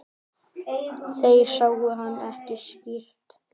Þeir sáu hann ekki skýrt.